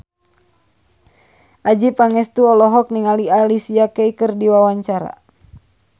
Adjie Pangestu olohok ningali Alicia Keys keur diwawancara